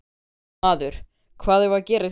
Maður: Hvað eigum við að gera í því?